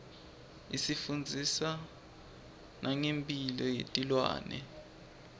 isifundzisa nangemphilo yetilwane